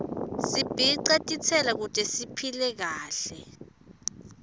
sibce titselo kute siphile kahle